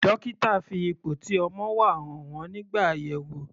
Dókítà fi ipò tí ọmọ wà hàn wọ́n nígbà àyẹ̀wò.